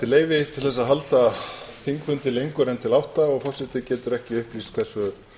til þess að halda þingfundi lengur en til átta og forseti getur ekki upplýst hversu